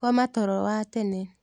Koma toro wa tene.